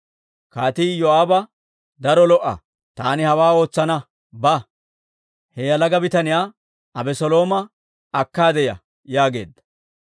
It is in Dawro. Kaatii Iyoo'aaba, «Daro lo"a! Taani hawaa ootsana! Ba; he yalaga bitaniyaa Abeselooma akkaade ya» yaageedda.